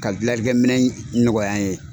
Ka dilalikɛminɛn nɔgɔya n ye.